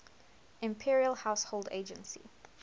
imperial household agency